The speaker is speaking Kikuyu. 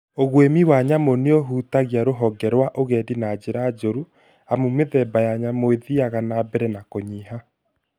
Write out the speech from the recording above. ũgwĩmi wa nyamũ nĩũhutagia rũhonge rwa ũgendi na njĩra njũru amu mĩthemba ya nyamũ ithiaga na mbere na kũnyiha